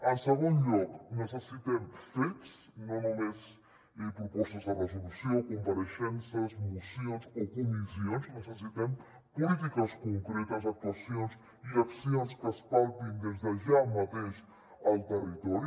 en segon lloc necessitem fets no només propostes de resolució compareixences mocions o comissions necessitem polítiques concretes actuacions i accions que es palpin des de ja mateix al territori